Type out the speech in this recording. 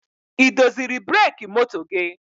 Ị doziri breki moto gị?